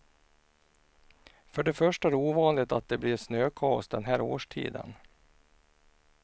För det första är det ovanligt att det blir snökaos den här årstiden.